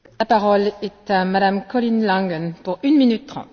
Frau Präsidentin, liebe Kolleginnen und Kollegen!